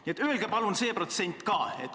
Nii et öelge palun see protsent ka.